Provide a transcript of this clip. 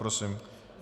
Prosím.